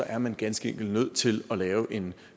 er man ganske enkelt nødt til at lave en